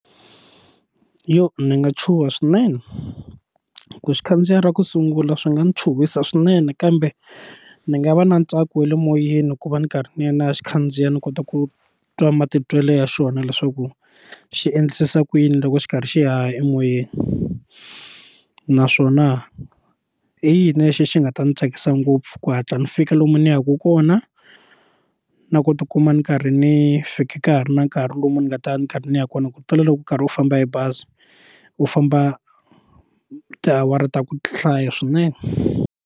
ni nga chuha swinene ku xikhandziya ra ku sungula swi nga ni chuhisa swinene kambe ni nga va na ntsako wa le moyeni ku va ni karhi ni ya ni ya xikhandziya ni kota ku twa matitwelo ya xona leswaku xi endlisa ku yini loko xi karhi xi haha emoyeni naswona i yini lexi xi nga ta ndzi tsakisa ngopfu ku hatla ni fika lomu ni yaka kona na na ku tikuma ni karhi ni fika ka ha ri na nkarhi lomu ni nga ta ni karhi ni ya kona ku tlula loko u karhi u famba hi bazi u famba tiawara ta ku hlaya swinene.